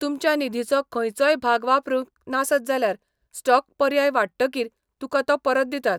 तुमच्या निधीचो खंयचोय भाग वापरूंक नासत जाल्यार स्टॉक पर्याय वांट्टकीर तुका तो परत दितात.